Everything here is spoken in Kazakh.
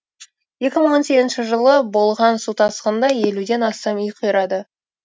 екі мың он сегізінші жылы болған су тасқынында елуден астам үй қирады